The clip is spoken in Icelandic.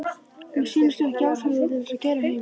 Mér sýnist þú ekki í ástandi til að keyra heim.